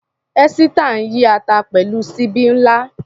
Esita ń yí ata pẹ̀lú ṣíbí ńlá.